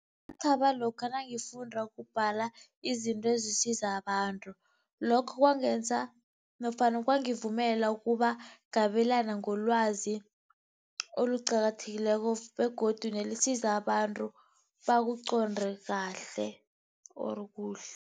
Ngathaba lokha nangifunda ukubhala izinto ezisiza abantu. Lokho kwangenza nofana kwangivumela ukuba ngabelane ngelwazi eliqakathekileko begodu nelisiza abantu bakuconde kahle or kuhle.